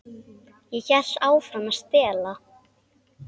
Ég hélt áfram að stela.